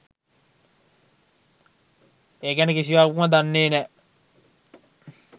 ඒ ගැන කිසිවක්ම දන්නෙ නෑ.